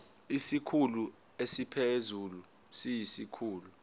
isikhulu esiphezulu siyisikhulu